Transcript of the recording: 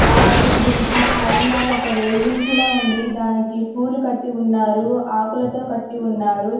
అలాగే దీనికి పైన ఒక రెయ్లింగ్ కూడా ఉంది దానికి పూలు కట్టి ఉన్నారు ఆకులతో కట్టి ఉన్నారు.